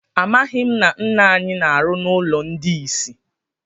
Amaghị m na nna anyị na-arụ na ụlọ ndị isi.